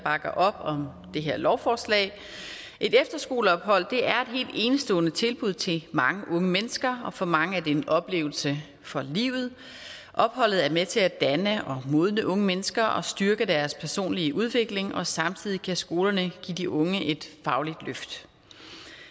bakker op om det her lovforslag et efterskoleophold er et enestående tilbud til mange unge mennesker og for mange er det en oplevelse for livet opholdet er med til at danne og modne unge mennesker og styrke deres personlige udvikling og samtidig kan skolerne give de unge et fagligt løft